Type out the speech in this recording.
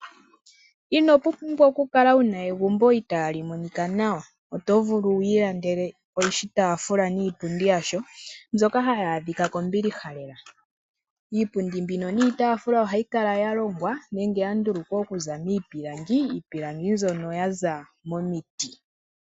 Inopumbwa oku kala wuna egumbo itali monika nawa, oto vulu wu ilandele oshitafula niipundi yasho mbyoka hayi adhika kombiliha lela. Iipundi mbino niitafula ohayi kala yalongwa nenge yandulukwa okuza miipilangi, iipilangi mbyono yaza momiti.